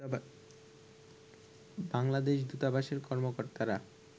বাংলাদেশ দূতাবাসের কর্মকর্তারা